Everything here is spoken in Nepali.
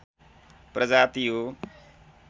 प्रजाति हो